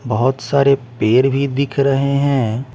बहुत सारे पेर भी दिख रहे हैं।